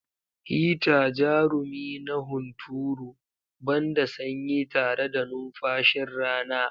Hita, jarumi na hunturu, ban da sanyi tare da numfashin rana.